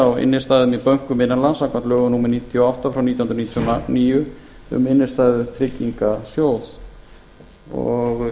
á innstæðum í bönkum innan lands samkvæmt lögum númer níutíu og átta nítján hundruð níutíu og níu um innistæðutryggingasjóð